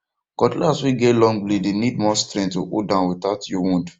cutlass way get long blade dey need more strength to hold am without you wound